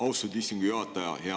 Austatud istungi juhataja!